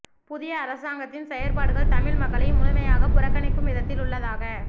புதிய அரசாங்கத்தின் செயற்பாடுகள் தமிழ் மக்களை முழுமையாகப் புறக்கணிக்கும் விதத்தில் உள்ளதாக